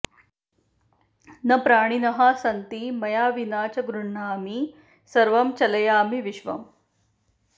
न प्राणिनः सन्ति मया विना च गृह्णामि सर्वं चलयामि विश्वम्